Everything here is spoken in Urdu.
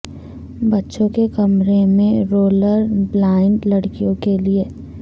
بچوں کے کمرے میں رولر بلائنڈ لڑکیوں کے لئے